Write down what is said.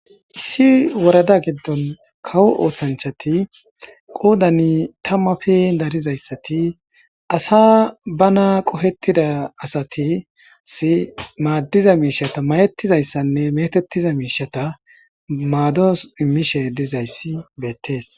issi worada giddon kawo ooththanchati qoodani tammafe darizayssati asa bana qohettida asatis maaddiza miishata mayettizayssanne metettiza miishata maados immishe dizayssi beettees